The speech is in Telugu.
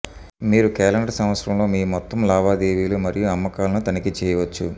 మీరు క్యాలెండర్ సంవత్సరంలో మీ మొత్తం లావాదేవీలు మరియు అమ్మకాలను తనిఖీ చేయవచ్చు